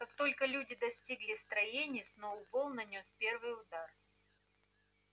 как только люди достигли строений сноуболл нанёс первый удар